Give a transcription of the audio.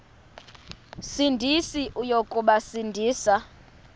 sindisi uya kubasindisa